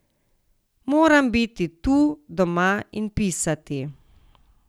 Moram biti tu, doma, in pisati.